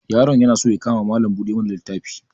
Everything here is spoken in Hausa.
Yaron na so ya kama Mallam buɗe mana littafi.